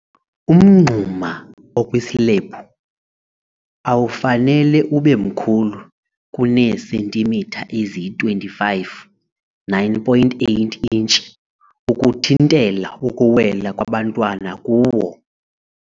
Umngxuma okwislebhu awufanele ube mkhulu kuneesentimitha eziyi-25, 9.8 intshi, ukuthintela ukuwela kwabantwana kuwo.